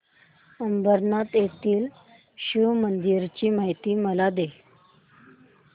अंबरनाथ येथील शिवमंदिराची मला माहिती दे